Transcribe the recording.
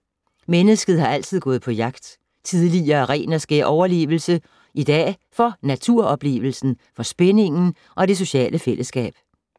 Mennesket har altid gået på jagt. Tidligere af ren og skær overlevelse. I dag for naturoplevelsen, for spændingen og det sociale fællesskab.